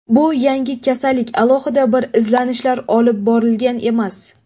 Bu yangi kasallik, alohida bir izlanishlar olib borilgan emas.